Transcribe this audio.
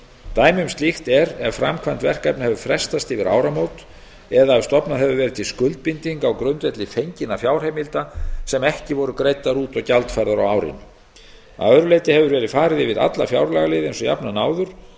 dæmi um slíkt er ef framkvæmd verkefna hefur frestast yfir áramót eða ef stofnað hefur verið til skuldbindinga á grundvelli fenginna fjárheimilda sem ekki voru greiddar út og gjaldfærðar á árinu að öðru leyti hefur verið farið yfir alla fjárlagaliði eins og jafnan áður við